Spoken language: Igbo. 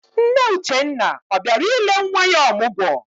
Nne Uchenna ọ bịara ile nwa ya ọmụgwọ?